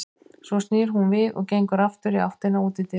Svo snýr hún við og gengur aftur í áttina að útidyrum.